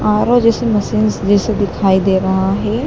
R O जैसी machines जैसा दिखाई दे रहा है।